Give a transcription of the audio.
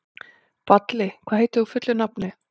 Balli, hvað heitir þú fullu nafni?